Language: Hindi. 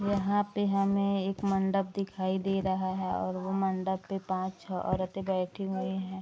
यहाँ पे हमें एक मंडप दिखाई दे रहा है और वो मंडप पे पांच-छो औरते बैठी हुवी हैं।